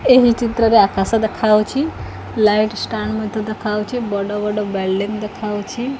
ଏହି ଚିତ୍ରରେ ଆକାଶ ଦେଖା ଯାଉଛି ଲାଇଟ୍ ଷ୍ଟାଣ୍ଡ ମଧ୍ୟ ଦେଖା ଯାଉଅଛି ବଡ ବଡ ବୁଇଲ୍ଡିଙ୍ଗ ଦେଖା ଯାଉଛି।